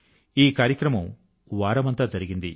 ఈ కార్యక్రమం వారమంతా జరిగింది